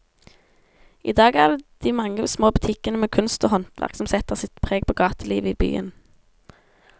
I dag er det de mange små butikkene med kunst og håndverk som setter sitt preg på gatelivet i byen.